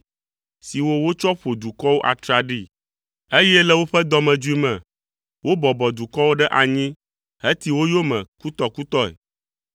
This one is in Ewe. siwo wotsɔ ƒo dukɔwo atraɖii, eye le woƒe dɔmedzoe me, wobɔbɔ dukɔwo ɖe anyi heti wo yome kutɔkutɔe.